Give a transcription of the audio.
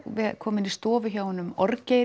koma inn í stofu hjá honum